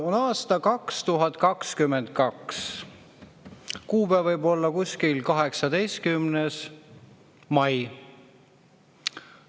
On aasta 2022, kuupäev võib olla kuskil 18. mai.